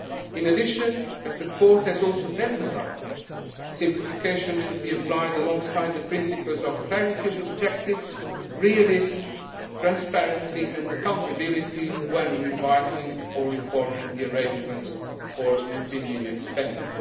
In addition, as the Court has also emphasised, simplification should be applied alongside the principles of clarity of objectives, realism, transparency and accountability when revising or reforming the arrangements for European Union